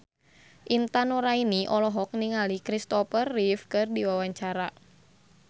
Intan Nuraini olohok ningali Kristopher Reeve keur diwawancara